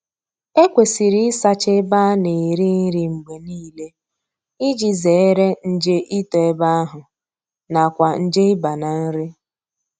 Ekwesịrị ịsacha ebe a na-eri nri mgbe niile iji zere nje ito ebe ahụ na kwa nje ịba na nri